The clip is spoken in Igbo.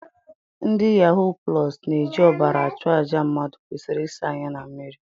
Ndị yahuu plọs na-eji ọbara achụ àjà, mmadụ kwesịrị ịsa anya na mmiri